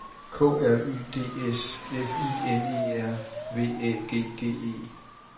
K R Y D S F I N E R V Æ G G E